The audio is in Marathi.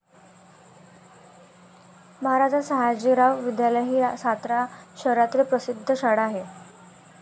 महाराजा सयाजीराव विद्यालय ही सातारा शहरातील प्रसिद्ध शाळा आहे.